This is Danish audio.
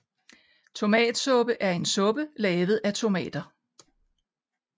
Tomatsuppe er en suppe lavet af tomater